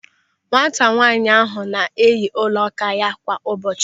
Nwata nwaanyị ahụ na-eyi ọla áká ya kwa ụbọchị.